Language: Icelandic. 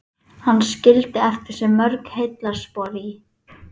Hann varð harmdauði öllum sem þekktu hann.